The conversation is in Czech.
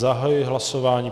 Zahajuji hlasování.